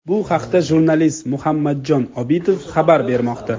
Bu haqda jurnalist Muhammadjon Obidov xabar bermoqda.